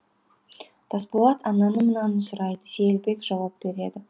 тасболат ананы мынаны сұрайды сейілбек жауап береді